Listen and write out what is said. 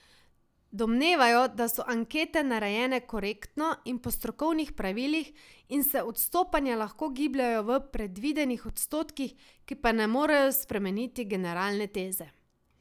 Domnevajmo, da so ankete narejene korektno in po strokovnih pravilih in se odstopanja lahko gibljejo v predvidenih odstotkih, ki pa ne morejo spremeniti generalne teze.